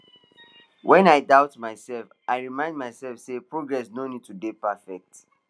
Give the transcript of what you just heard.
when i start doubt myself i remind myself say progress no need to dey perfect